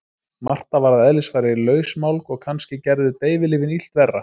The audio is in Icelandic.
Marta var að eðlisfari lausmálg og kannski gerðu deyfilyfin illt verra.